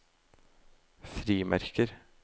frimerker